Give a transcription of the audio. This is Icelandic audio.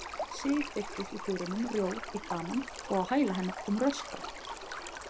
Sif birtist í dyrunum rjóð í framan og á hæla hennar kom Röskva.